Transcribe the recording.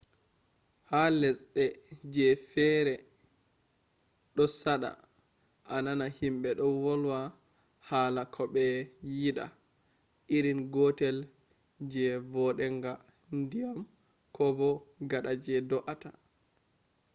ha lesde je feri do sada a nana himbe do volwa hala ko be yida irin gotel je vodenga ndiyam kobo gada je doata